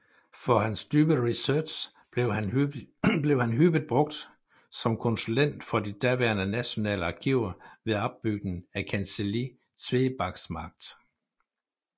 For hans dybe research blev han hyppigt brugt som konsulent for de daværende nationale arkiver ved opbygningen af kancelli Tweebaksmarkt